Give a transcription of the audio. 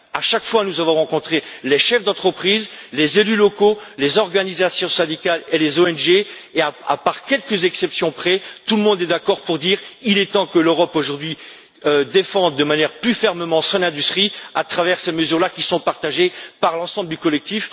À chaque fois, nous avons rencontré des chefs d'entreprise, des élus locaux, des organisations syndicales et des ONG et, à quelques exceptions près, tout le monde est d'accord pour dire qu'il est temps que l'Europe défende aujourd'hui de manière plus ferme son industrie à travers ces mesures, qui sont partagées par l'ensemble du collectif.